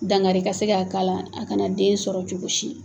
Dangari ka se ka k'a la a kana den sɔrɔ cogo si.